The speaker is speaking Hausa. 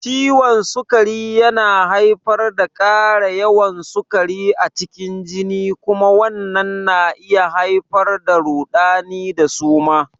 Ciwon sukari yana haifar da ƙara yawan sukari a cikin jini kuma wannan na iya haifar da rudani da suma.